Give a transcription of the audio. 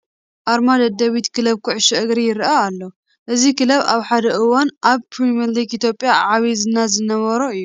ኣርማ ደደቢት ክለብ ኩዕሾ እግሪ ይርአ ኣሎ፡፡ እዚ ክለብ ኣብ ሓደ እዋን ኣብ ፕሪምየር ሊግ ኢትዮጵያ ዓብዪ ዝና ዝነበሮ እዩ፡፡